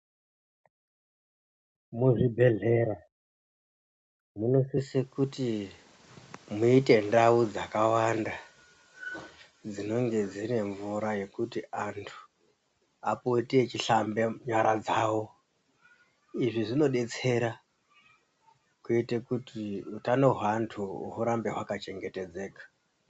Muzvibhedlera munosisa kuti muite ndau dzakawanda dzinonge dzine mvura yekuti antu apote eihlambe nyara dzavo izvi zvinodetsera kuite kuti utano hweantu hurambe hwaka chengetedzeka .